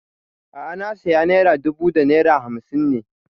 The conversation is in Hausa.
A'a na saya naira dubu da naira hamsin ne